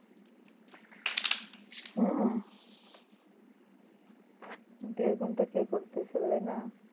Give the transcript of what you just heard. হ্যাঁ দিয়ে এরকমটা কে করতেছে তাই না